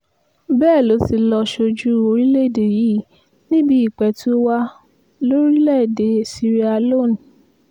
bẹ́ẹ̀ ló ti lọ́ọ́ sójú orílẹ̀‐èdè yìí níbi ìpẹ̀tùwàà lórílẹ̀‐èdè sierra-leone